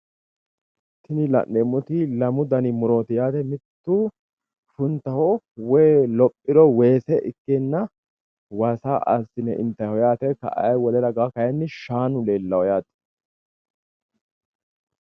tini la'neemmoti lamu dani murooti yaate mittu funtaho woy lophiro weese ikkeenna waasa assi'ne intayiho yaate ka'a wole raganni shaanu leellawo yaate.